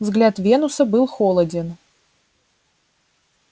взгляд венуса был холоден